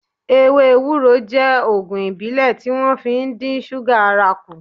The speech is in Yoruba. Ewé ewúro je Ògùn ìbílẹ̀ tí wón fi ń dín súgà ara kù